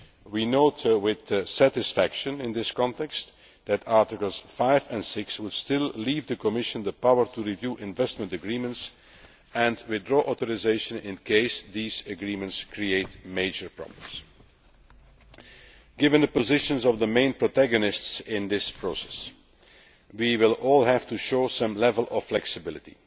We note with satisfaction here that Articles 5 and 6 would still leave the Commission the power to review investment agreements and withdraw authorisation should such agreements create major problems. Given the positions of the main protagonists in this process, we will all have to show some level of flexibility.